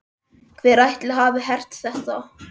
Hver ætli hafi hert þetta?